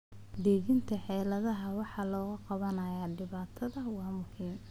Dejinta xeeladaha wax looga qabanayo dhibaatada waa muhiim.